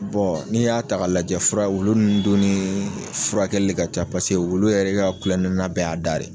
Bɔ n'i y'a ta k'a lajɛ fura wulu nn dun nii furakɛli ka ca pase wulu yɛrɛ ka kulɔnena bɛɛ y'a da de.